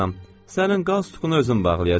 Sənin qaz sıxacını özüm bağlayacam.